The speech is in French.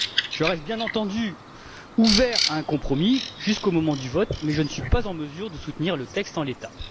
Je reste, bien entendu, ouvert à un compromis jusqu'au moment du vote mais je ne suis pas en mesure de soutenir le texte en l'état.